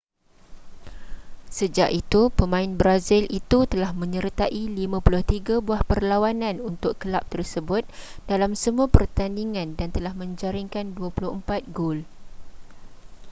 sejak itu pemain brazil itu telah menyertai 53 buah perlawanan untuk kelab tersebut dalam semua pertandingan dan telah menjaringkan 24 gol